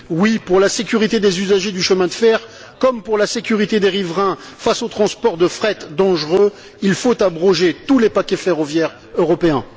Oui, pour la sécurité des usagers du chemin de fer comme pour la sécurité des riverains, face aux transports de fret dangereux, il faut abroger tous les paquets ferroviaires européens.